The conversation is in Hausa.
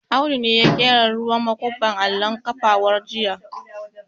Audu ne ya ƙera ruwan makuban allon kafawar jiya